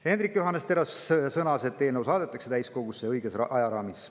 Hendrik Johannes Terras sõnas, et eelnõu saadetakse täiskogusse õiges ajaraamis.